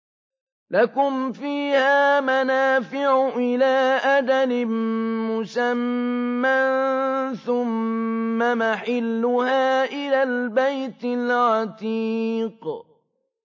لَكُمْ فِيهَا مَنَافِعُ إِلَىٰ أَجَلٍ مُّسَمًّى ثُمَّ مَحِلُّهَا إِلَى الْبَيْتِ الْعَتِيقِ